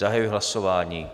Zahajuji hlasování.